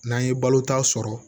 N'an ye balo ta sɔrɔ